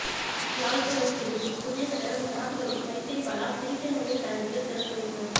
யாழ் police பிரிவின் புதிய கட்டடம் ஜனாதிபதி மைத்ரிபால சிறிசேனவின் தலைமையில் திறந்து வைப்பு